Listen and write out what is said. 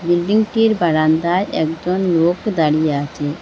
বিল্ডিংটির বারান্দায় একজন লোক দাঁড়িয়ে আছে।